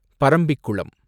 Parambikulam